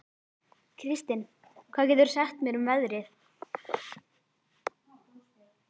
Kristin, hvað geturðu sagt mér um veðrið?